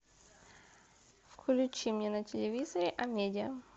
включи мне на телевизоре амедиа